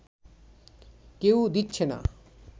কেউ দিচ্ছে না